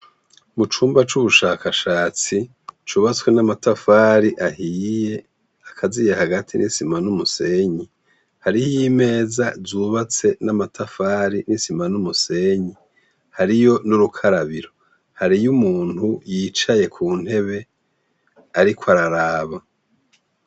Mu cumba c'ubushakashatsi cubatswe n'amatafari ahiye akaziye hagati n'isima n'umusenyi hariho imeza zubatse n'amatafari n'isima n'umusenyi hariyo n'urukarabiro hariyo umuntu yicaye ku ntebe, ariko araraba.